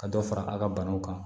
Ka dɔ fara a ka banaw kan